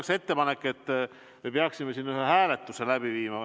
Mul on ettepanek, et me peaksime siin ühe hääletuse läbi viima.